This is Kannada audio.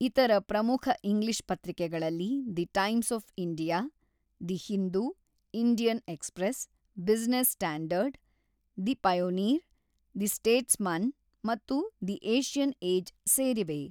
ಇತರ ಪ್ರಮುಖ ಇಂಗ್ಲಿಷ್ ಪತ್ರಿಕೆಗಳಲ್ಲಿ the Times of India, the Hindu, Indian Express, Business Standard, the Pioneer, the Statesman ಮತ್ತು ದಿ ಏಷ್ಯನ್ ಏಜ್ ಸೇರಿವೆ.